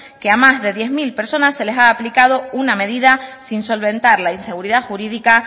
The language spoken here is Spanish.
que a más de diez mil personas se les ha aplicado una medida sin solventar la inseguridad jurídica